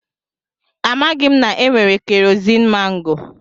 Amaghị m na-enwere keroziin mangoo.